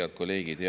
Head kolleegid!